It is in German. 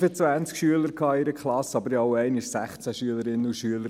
Ich hatte 25 Schüler in einer Klasse, aber auch einmal 16 Schülerinnen und Schüler.